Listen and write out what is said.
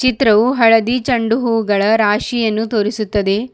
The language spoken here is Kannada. ಚಿತ್ರವು ಹಳದಿ ಚೆಂಡು ಹೂಗಳ ರಾಶಿಯನ್ನು ತೋರಿಸುತ್ತದೆ.